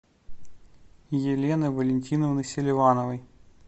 елены валентиновны селивановой